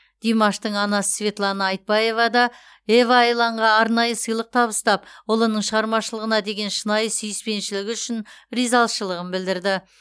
димаштың анасы светлана айтбаева да ева айланға арнайы сыйлық табыстап ұлының шығармашылығына деген шынайы сүйіспеншілігі үшін ризашылығын білдірді